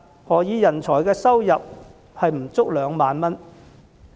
何以人才的每月收入不足2萬元？